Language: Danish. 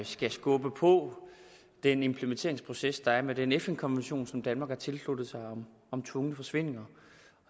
skal skubbe på den implementeringsproces der er med den fn konvention som danmark har tilsluttet sig om tvungne forsvindinger